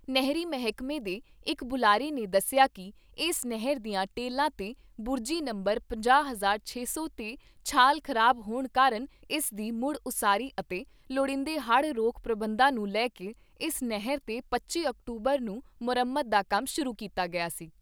ਨਹਿਰੀ ਮਹਿਕਮੇ ਦੇ ਇਕ ਬੁਲਾਰੇ ਨੇ ਦੱਸਿਆ ਕਿ ਇਸ ਨਹਿਰ ਦੀਆਂ ਟੇਲਾਂ ਤੇ ਬੁਰਜੀ ਨੰਬਰ ਪੰਜਾਹ, ਛੇ ਸੌ ਤੇ ਝਾਲ ਖਰਾਬ ਹੋਣ ਕਾਰਨ ਇਸ ਦੀ ਮੁੜ ਉਸਾਰੀ ਅਤੇ ਲੋੜੀਂਦੇ ਹੜ੍ਹ ਰੋਕੂ ਪ੍ਰਬੰਧਾਂ ਨੂੰ ਲੈ ਕੇ ਇਸ ਨਹਿਰ ਤੇ ਪੱਚੀ ਅਕਤੂਬਰ ਨੂੰ ਮੁਰੰਮਤ ਦਾ ਕੰਮ ਸ਼ੁਰੂ ਕੀਤਾ ਗਿਆ ਸੀ।